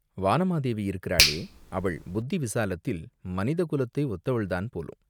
வானமாதேவி இருக்கிறாளே, அவள் புத்தி விசாலத்தில் மனித குலத்தை ஒத்தவள்தான் போலும்!